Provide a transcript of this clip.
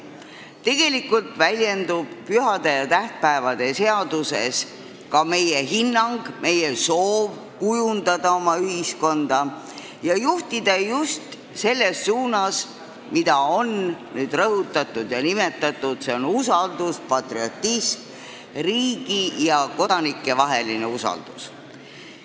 Tegelikult väljendub pühade ja tähtpäevade seaduses ka meie hinnang, meie soov kujundada oma ühiskonda ning juhtida seda just selles suunas, mida on palju rõhutatud ja nimetatud – see on patriotism, riigi ja kodanike vaheline usaldus.